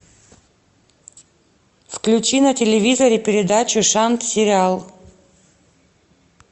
включи на телевизоре передачу шант сериал